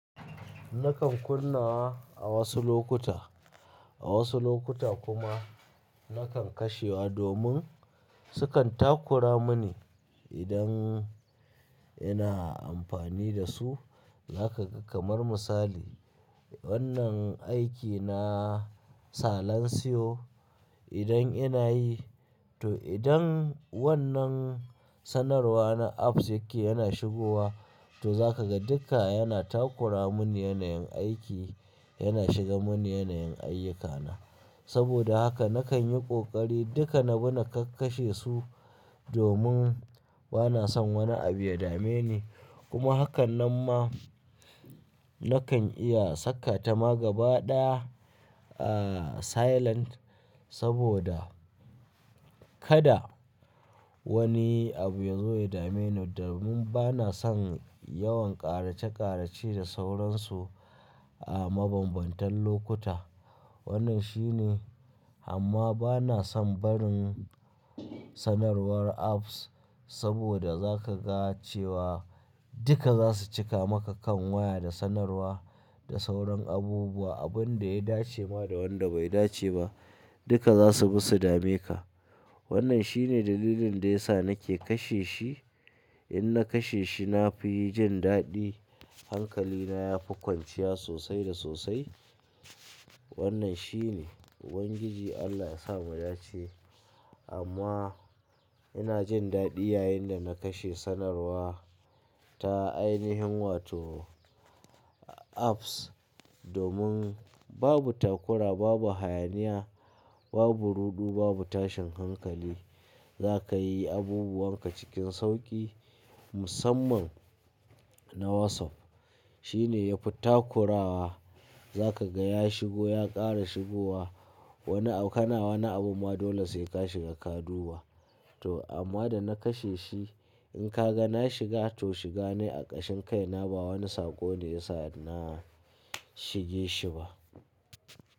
Nakan kunna a wasu lokuta, a wasu lokuta kuma nakan kashewa domin sukan takura mini idan ina amfani da su. Zaka ga kamar misali, wannan aiki na salon siyo idan ina yi to idan wannan sanarwa na apps yake yana shigowa to zaka ga duka yana takura mun yanayin aiki, yana shiga mun yanayin ayyukana. Saboda haka nakan yi ƙoƙari duka na bi na kakkashe su domin bana son wani abu ya dame ni. Kuma hakan nan ma nakan iya saka ta magaba ɗaya, ah silent saboda kada wani abu ya zo ya dame ni, domin bana son yawan ƙarace ƙarace da sauransu a mabambantan lokuta. Wannan shine, amma bana son barin sanarwar apps saboda zaka ga cewa duka za su cika maka kan waya da sanarwa da sauran abubuwa, abun da ya dace ma da wanda bai dace ba duka za su bisu dame ka. Wannan shine dalilin da ya sa nake kashe shi. In na kashe shi na fi jin daɗi, hankalina ya fi kwanciya sosai da sosai. Wannan shine, Ubangiji Allah ya sa mu da ce. Amma ina jin daɗi yayin da na kashe sanarwa ta ainihin wato apps domin babu takura, babu hayaniya, babu ruɗu, babu tashin hankali. Zaka yi abubuwan ka cikin sauƙi musamman na WhatsApp. Shi ne ya fi takurawa, za ka ga ya shigo ya ƙara shigowa. Wani auƙanawa na abu ma dole sai ka shiga ka duba. To amma da na kashe shi in ka ga na shiga to shiga ne a ƙashin kai na ba wani sako ne ya sa na shige shi ba.